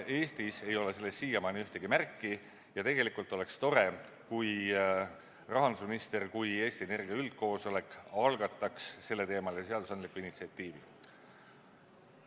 Eestis ei ole sellest siiamaani ühtegi märki ja oleks tore, kui rahandusminister kui Eesti Energia üldkoosolek algataks selleteemalise seadusandliku initsiatiivi.